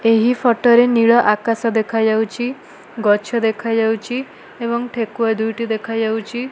ଏହି ଫଟ ରେ ନୀଳଆକାଶ ଦେଖାଯାଉଚି ଗଛ ଦେଖାଯାଉଚି ଏବଂ ଠେକୁଆ ଦୁଇଟି ଦେଖାଯାଉଚି।